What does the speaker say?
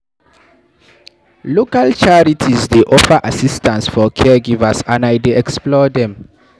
Local charities dey offer assistance for caregivers, and I dey explore dem.